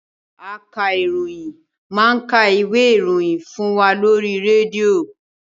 Akaròyìn máa ka ìwé ìròyìn fún wa lóri rédíò.